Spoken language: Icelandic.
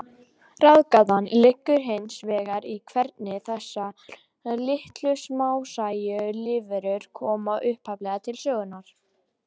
Ráðgátan liggur hins vegar í hvernig þessar litlu, smásæju lífverur komu upphaflega til sögunnar.